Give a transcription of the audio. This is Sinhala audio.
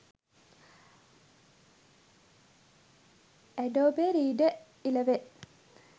adobe reader 11